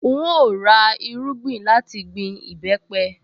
N óò ra irúgbìn láti gbin ìbẹ́pẹ